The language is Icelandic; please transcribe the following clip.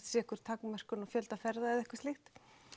sé einhver takmörkun á fjölda ferða eða eitthvað slíkt